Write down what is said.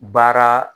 Baara